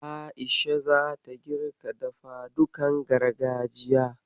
A'isha zata girka dafadukan gargajiya.